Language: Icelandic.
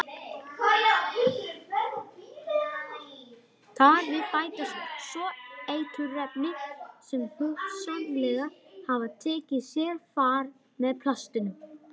Þar við bætast svo eiturefni sem hugsanlega hafa tekið sér far með plastinu.